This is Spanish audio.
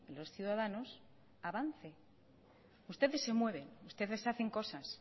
los ciudadanos avance ustedes se mueven ustedes hacen cosas